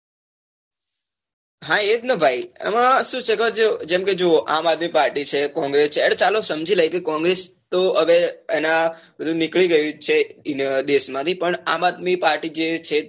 હા એજ ને ભાઈ એમાં શું છે ખબર છે જેમ કે જોવો આમ આદમી party છે congress છે અને ચાલો સમજી લઈશું કે તો congress હવે એના બધુ નીકળી ગયું છે દેશ માંથી પણ આમ આદમી party છે